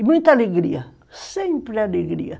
E muita alegria, sempre alegria.